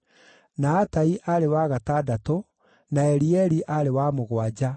na Atai aarĩ wa gatandatũ, na Elieli aarĩ wa mũgwanja,